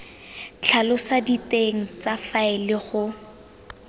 tlhalosa diteng tsa faele go